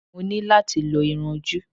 Mo ní láti lo irun-ojú